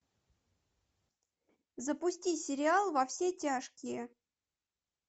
запусти сериал во все тяжкие